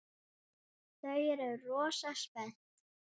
Þau eru rosa spennt.